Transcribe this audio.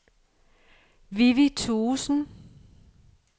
Vivi Thuesen